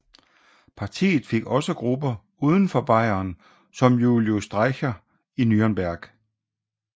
Partiet fik også grupper uden for Bayern som Julius Streicher i Nürnberg